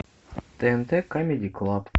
тнт камеди клаб